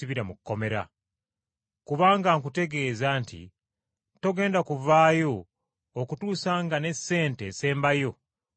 Kubanga nkutegeeza nti togenda kuvaayo okutuusa nga ne sente esembayo omaze okugisasula.”